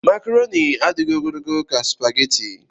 Makroni adịghị ogologo ka supageti.